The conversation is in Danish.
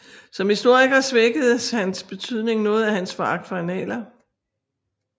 Som historiker svækkes hans betydning noget af hans foragt for annaler